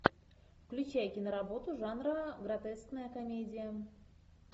включай киноработу жанра гротескная комедия